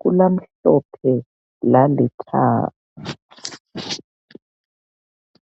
kulamhlophe lalithanga.